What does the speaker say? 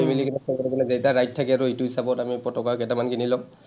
মিলি কিবা greater এটা ride থাকে আৰু এইটো হিচাপত আমি পতকা কেইটামান কিনি ল’ম।